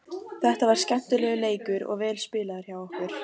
Þetta var skemmtilegur leikur og vel spilaður hjá okkur.